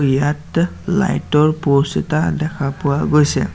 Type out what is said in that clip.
ইয়াত লাইট ৰ প'ষ্ট এটা দেখা পোৱা গৈছে।